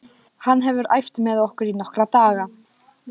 Hann hefur æft með okkur í nokkra daga.